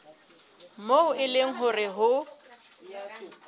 moo e leng hore ho